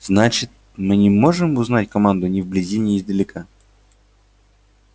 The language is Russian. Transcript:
значит мы не можем узнать команду ни вблизи ни издалека